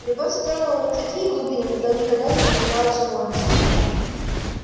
любовь затронула в нём такие глубины куда никогда не проникала склонность